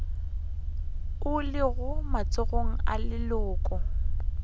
o lego matsogong a leloko